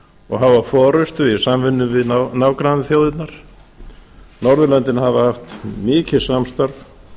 og hafa forustu í samvinnu við nágrannaþjóðirnar norðurlöndin hafa haft mikið samstarf